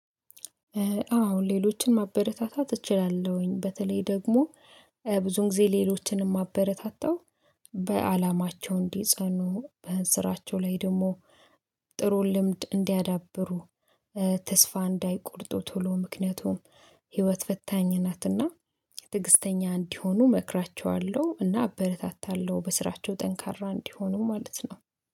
አሁን ሌሎችን ማበረታታት እችላለሁኝ በተለይ ደግሞ ብዙዉን ጊዜ ሌሎችን የማበረታታው በአላማቸው እንዲጸኑ በስራቸው ላይ ደግሞ ጥሩ ልምድ እንዲያዳብሩ ተስፋ እንዳይቆርጡ ቶሎ ምክንያቱም ህይወት ፈታኝ ናትና ትዕግስተኛ እንዲሆኑ መክራቸዋለሁ እና አበረታታለሁ በስራቸው ጠንካራ እንዲሆኑ ማለት ነው